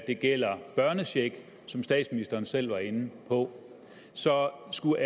det gælder børnecheck som statsministeren selv var inde på så skulle